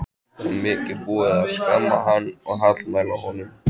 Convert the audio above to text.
Og mikið er búið að skamma hann og hallmæla honum.